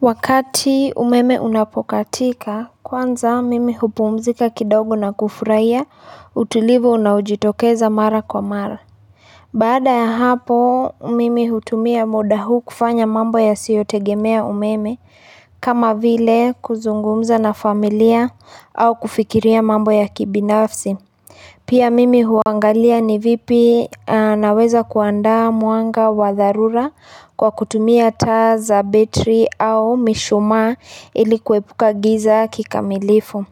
Wakati umeme unapokatika kwanza mimi hupumzika kidogo na kufurahiya utulivu unaojitokeza mara kwa mara Baada ya hapo mimi hutumia muda huu kufanya mambo yasiyotegemea umeme kama vile kuzungumza na familia au kufikiria mambo ya kibinafsi Pia mimi huangalia ni vipi naweza kuandaa mwanga wa dharura kwa kutumia taa za betri au mishumaa ili kuepuka giza kikamilifu.